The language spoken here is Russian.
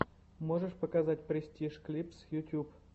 можешь показать престиж клипс ютюб